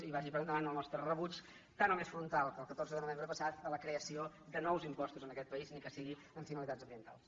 i vagi per enda·vant el nostre rebuig tant o més frontal que el catorze de no·vembre passat a la creació de nous impostos en aquest país ni que sigui amb finalitats ambientals